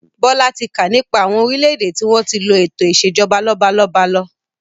Bọlá tí kà nípa àwọn orílédé tí wọn tí lo eto ìsèjọba lọ́balọ́ba lọ.